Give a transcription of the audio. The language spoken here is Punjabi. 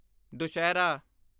ਦੁਸਹਿਰਾ